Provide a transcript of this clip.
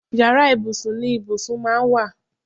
Yàrá ibùsùn ni ibùsùn máa ń wà